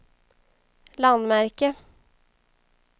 landmärke